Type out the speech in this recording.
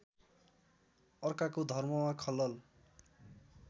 अर्काको धर्ममा खलल